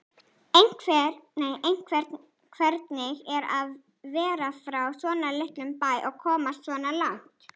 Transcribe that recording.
Einnig hvernig er að vera frá svona litlum bæ og komast svona langt?